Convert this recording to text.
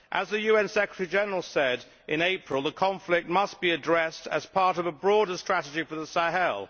As the UN Secretary General said in April, the conflict must be addressed as part of a broader strategy for the Sahel.